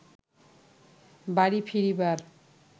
বাড়ি ফিরিবার